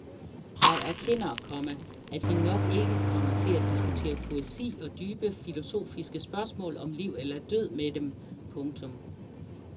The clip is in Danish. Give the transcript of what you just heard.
Jeg erkender, komma at vi nok ikke kommer til at diskutere poesi og dybe filosofiske spørgsmål om liv eller død med dem. punktum